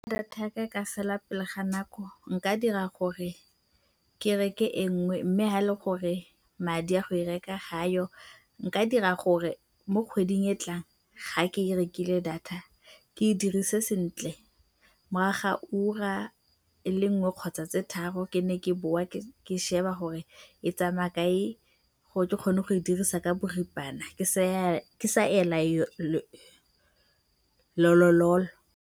Data ya ka e ka fela pele ga nako nka dira gore ke reke e nngwe mme fa e le gore madi a go e reka ga ayo, nka dira gore mo kgweding e e tlang fa ke rekile data ke e dirise sentle morago ga ura e le nngwe kgotsa tse tharo ke nne ke boa ke lebe gore e tsamaya kae gore ke kgone go e dirisa ka boripana, ke sa ela lolololo.